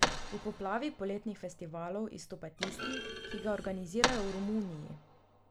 V poplavi poletnih festivalov izstopa tisti, ki ga organizirajo v Romuniji.